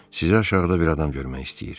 Sizi aşağıda bir adam görmək istəyir.